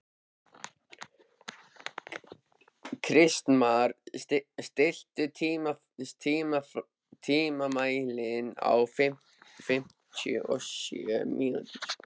Kristmar, stilltu tímamælinn á fimmtíu og sjö mínútur.